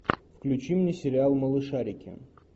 включи мне сериал малышарики